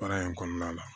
Baara in kɔnɔna la